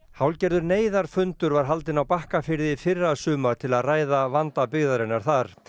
hálfgerður neyðarfundur var haldinn á Bakkafirði í fyrrasumar til að ræða vanda byggðarinnar þar